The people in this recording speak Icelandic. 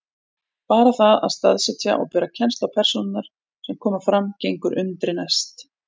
Bara það að staðsetja og bera kennsl á persónurnar sem fram koma gengur undri næst.